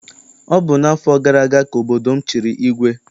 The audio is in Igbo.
Ọ bụ n'afọ gara aga ka obodo m chịrị igwe.